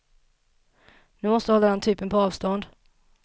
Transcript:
Ni måste hålla den typen på avstånd.